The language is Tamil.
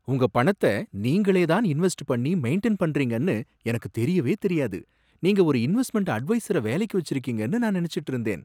உங்க பணத்த நீங்களே தான் இன்வெஸ்ட் பண்ணி மெயின்டைன் பண்றீங்கன்னு எனக்கு தெரியவே தெரியாது, நீங்க ஒரு இன்வெஸ்ட்மெண்ட் அட்வைசர வேலைக்கு வச்சிருக்கீங்கன்னு நான் நினைச்சுட்டு இருந்தேன்.